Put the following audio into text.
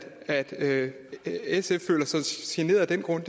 at sf føler sig generet af den grund